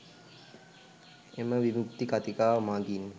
එම විමුක්ති කතිකාව මගින්